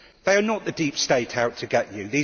They are not the deep state' out to get you.